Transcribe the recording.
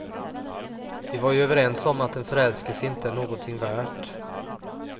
Vi var ju överens om att en förälskelse inte är någonting värt.